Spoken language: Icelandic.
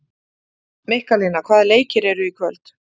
Mikkalína, hvaða leikir eru í kvöld?